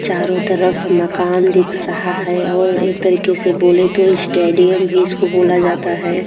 चारों तरफ मकान दिख रहा है और एक तरीके से बोले तो ईस्टेडियम भी इसको बोला जाता है।